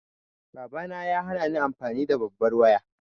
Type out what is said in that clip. Babana ya hanani amfani da babbar waya.